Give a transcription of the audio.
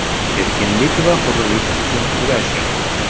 Erkinlik va hurlik uchun kurashing!